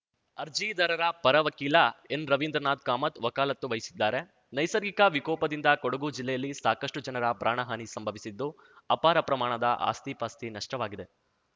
ಅರ್ಜಿದಾರರ ಪರ ವಕೀಲ ಎನ್‌ರವಿಂದ್ರನಾಥ್ ಕಾಮತ್‌ ವಕಾಲತ್ತು ವಹಿಸಿದ್ದಾರೆ ನೈಸರ್ಗಿಕ ವಿಕೋಪದಿಂದ ಕೊಡಗು ಜಿಲ್ಲೆಯಲ್ಲಿ ಸಾಕಷ್ಟುಜನರ ಪ್ರಾಣಹಾನಿ ಸಂಭವಿಸಿದ್ದು ಅಪಾರ ಪ್ರಮಾಣದ ಆಸ್ತಿ ಪಾಸ್ತಿ ನಷ್ಟವಾಗಿದೆ